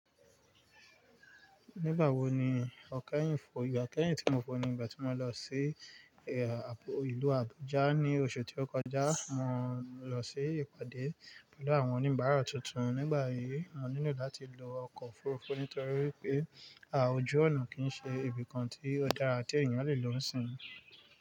Nígbà wo ni ọkẹ́ yìí fò? Ìgbà kẹ́yìn tí mo fò ni ìgbà tí mo lọ sí ìlú Abuja ní oṣù tí ó kọjá. Mo lọ sí ìpàdé pẹ̀lú àwọn oníbàárà tuntun. Nígbà yìí, mo nílò láti lo ọkọ̀ òfuurufú nítorí pé à oju ọ̀nà kì í ṣe ibìkan tí ọ̀darà àti èèyàn lè lọ sìn.